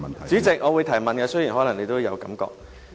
主席，我會提問，雖然你可能有這感覺。